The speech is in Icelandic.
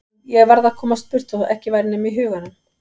Ég varð að komast burt þótt ekki væri nema í huganum.